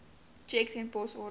tjeks en posorders